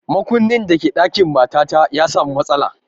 Makunnin da ke ɗakin matata ya samu matsala